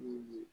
Unhun